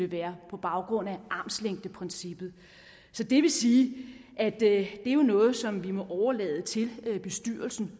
være på baggrund af armslængdeprincippet så det vil sige at det jo er noget som vi må overlade til bestyrelsen